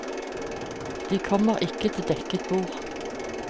De kommer ikke til dekket bord.